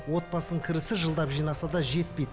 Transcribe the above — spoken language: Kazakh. отбасының кірісі жылдап жинаса да жетпейді